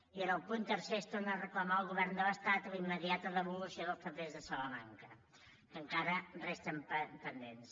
i en el punt tercer es torna a reclamar al govern de l’estat la immediata devolució dels papers de salamanca que encara resten pendents